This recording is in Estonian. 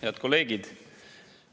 Head kolleegid!